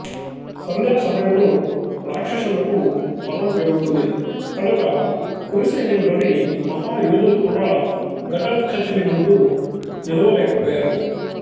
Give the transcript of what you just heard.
సంధ్యాసమయంలో రాక్షసులకు బలం పెరుగుతుంది కనుక కురు సైన్యంలోని మహాయోధులు కూడా ఘటోత్కచుని ముందు నిలువ లేక పోయారు